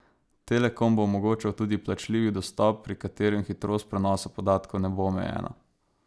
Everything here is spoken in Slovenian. Telekom bo omogočal tudi plačljivi dostop, pri katerem hitrost prenosa podatkov ne bo omejena.